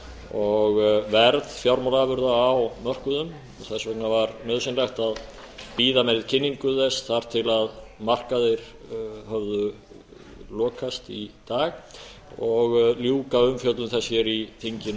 og verð fjármálaafurða á mörkuðum þess vegna var nauðsynlegt að bíða með kynningu þess þar til markaðir höfðu lokast í dag og ljúka umfjöllun þess hér í þinginu